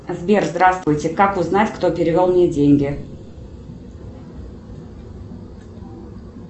сбер здравствуйте как узнать кто перевел мне деньги